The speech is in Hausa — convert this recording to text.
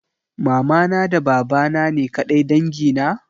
Mamana da babana ne ƙadai dangi na?